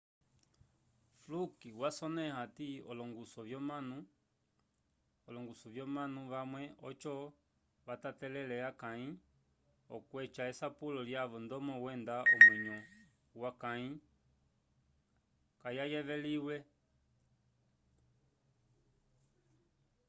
fluk wasonẽha hati olongusu vyomanu vamwe oco vatatelele akãyi okweca esapulo lyavo ndomo wenda omwenyo wakãyi kayayeveliwile